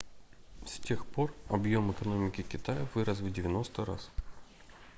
с тех пор объем экономики китая вырос в 90 раз